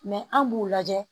an b'u lajɛ